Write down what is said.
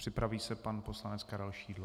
Připraví se pan poslanec Karel Šidlo.